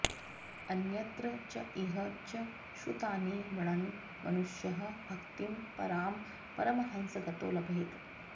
अन्यत्र च इह च श्रुतानि गृणन् मनुष्यः भक्तिं परां परमहंसगतौ लभेत